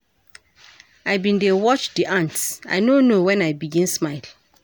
I bin dey watch di ants I no know wen I begin smile.